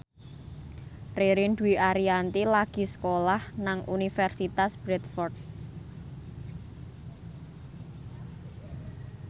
Ririn Dwi Ariyanti lagi sekolah nang Universitas Bradford